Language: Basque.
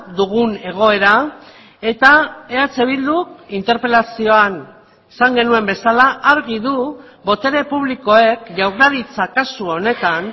dugun egoera eta eh bilduk interpelazioan esan genuen bezala argi du botere publikoek jaurlaritza kasu honetan